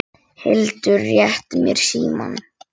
Tóti tók andköf.